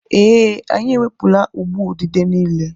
Ee, anyị ewepụla ụgbụ udide niile.